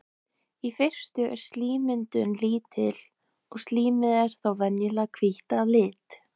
í fyrstu er slímmyndun lítil og slímið er þá venjulega hvítt að lit